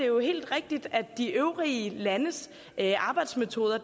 jo helt rigtigt at de øvrige landes arbejdsmetoder